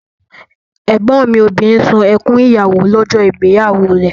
Ẹ̀gbọ́n mi obìnrin sun ẹkún ìyàwó lọ́jọ́ ìgbéyàwó rẹ̀